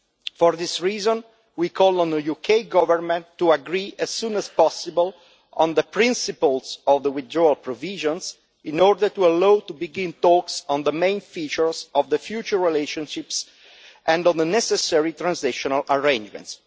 For this reason, we call on the UK Government to agree as soon as possible on the principles of the withdrawal provisions in order to allow us to begin talks on the main features of the future relationships and on the necessary transitional arrangements.